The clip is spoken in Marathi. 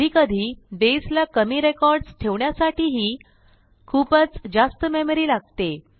कधीकधी बसे ला कमी रेकॉर्डस ठेवण्यासाठीही खूपच जास्त मेमरी लागते